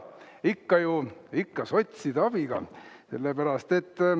Ikka ju sotside abiga, sellepärast et …